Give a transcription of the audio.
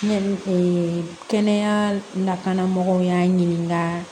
kɛnɛya lakanamɔgɔw y'an ɲininka